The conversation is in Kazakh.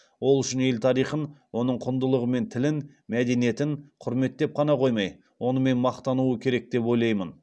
ол үшін ел тарихын оның құндылығы мен тілін мәдениетін құрметтеп қана қоймай онымен мақтануы керек деп ойлаймын